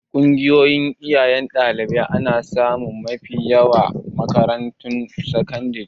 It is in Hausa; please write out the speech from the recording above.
Ƙungiyar iyayen ɗalibai ana samunsu mafi yawa a makarantun sakandare.